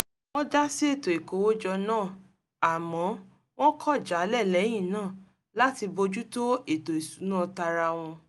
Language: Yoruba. wọ́n dá sí ètò ìkówójọ náà àmọ́ wọ́n kọ̀ jálẹ̀ lẹ́yìn náà láti bójú tó ètò ìsúná tara wọn